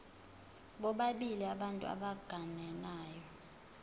bobabili abantu abagananayo